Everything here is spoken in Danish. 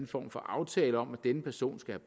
form for aftale om at denne person skal